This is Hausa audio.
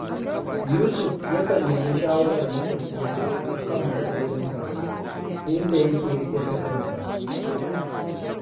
Yusuf yakan nemi shawarar maƙocinsa a kan matsalolinsa, inda yake riƙe masa sirrinsa